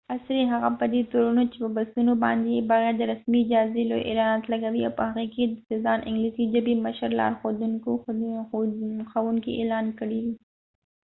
عصری هغه په دي تورنو چې په بسونو باندي یې بغیر د رسمی اجازی لوي اعلانات لګولی او په هغې کې یې ځا ن دانګلیسی ژبی مشر لارښود ښوونکې اعلان کړي دي